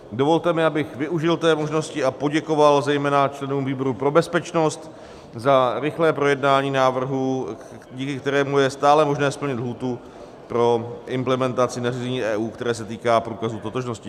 Dovolte mi, abych využil té možnosti a poděkoval zejména členům výboru pro bezpečnost za rychlé projednání návrhu, díky kterému je stále možné splnit lhůtu pro implementaci nařízení EU, které se týká průkazu totožnosti.